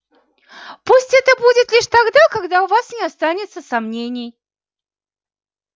пусть это будет лишь тогда когда у вас не останется сомнений